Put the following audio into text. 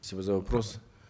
спасибо за вопрос